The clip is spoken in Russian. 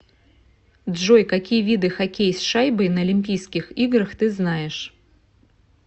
джой какие виды хоккей с шайбой на олимпийских играх ты знаешь